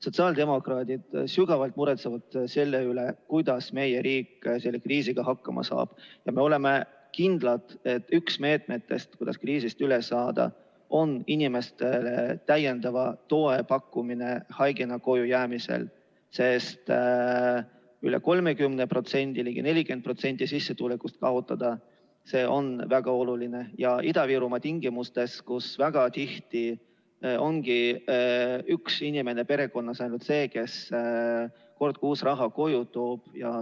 Sotsiaaldemokraadid sügavalt muretsevad selle pärast, kuidas meie riik selle kriisiga hakkama saab, ja me oleme kindlad, et üks meetmetest, kuidas kriisist üle saada, on inimestele täiendava toe pakkumine haigena koju jäämisel, sest üle 30%, ligi 40% sissetulekust kaotada, see on väga oluline Ida-Virumaa tingimustes, kus väga tihti ongi ainult üks inimene perekonnas see, kes kord kuus raha koju toob.